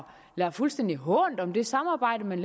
lader fuldstændig hånt om det samarbejde man